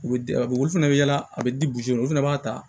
U bɛ olu fana bɛ yala a bɛ di olu fana b'a ta